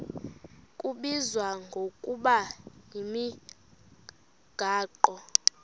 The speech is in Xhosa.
kubizwa ngokuba yimigaqo